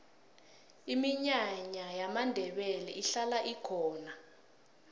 iminyanya yamandebele ihlala ikhona